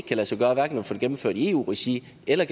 kan lade sig gøre at få det gennemført i eu regi eller